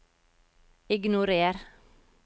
ignorer